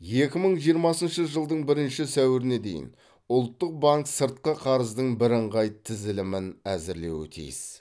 екі мың жиырмасыншы жылдың бірінші сәуіріне дейін ұлттық банк сыртқы қарыздың бірыңғай тізілімін әзірлеу тиіс